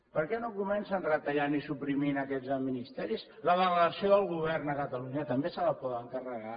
per què no comencen retallant i suprimint aquests ministeris la delegació del govern a catalunya també se la poden carregar